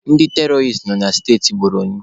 Ndị teroris nọ na steti Bonu.